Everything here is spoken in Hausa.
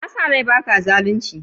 N'na sa rai ba ka zalunci?